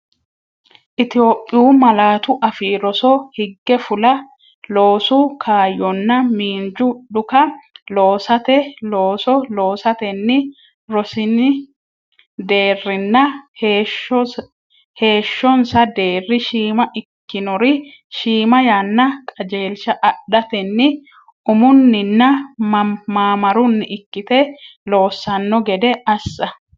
Itophiyu Malaatu Afii Roso higge fula, loosu kaayyonna miinju dhuka lossate looso loosatenni rosin- deerrinna heeshshonsa deerri shiima ikkinori shiima yanna qajeelsha adhatenni umunninna maamarunni ikkite loossanno gede assa.